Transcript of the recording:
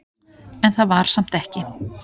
En það var samt ekki.